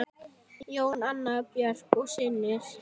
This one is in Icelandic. Jón, Anna Björk og synir.